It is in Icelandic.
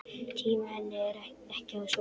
Tími henni ekki á sjóinn!